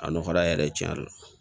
A nɔgɔya yɛrɛ tiɲɛ yɛrɛ la